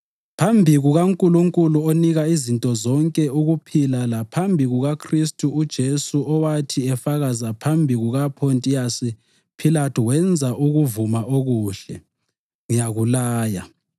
Phambi kukaNkulunkulu onika izinto zonke ukuphila laphambi kukaKhristu uJesu owathi efakaza phambi kukaPhontiyasi Philathu wenza ukuvuma okuhle, ngiyakulaya